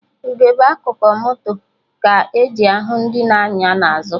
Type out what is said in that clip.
Ugegbe akụkụ moto ka-eji ahụ ndị na-anya n'azụ